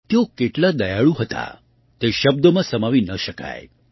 તેઓ કેટલાં દયાળુ હતાં તે શબ્દોમાં સમાવી ન શકાય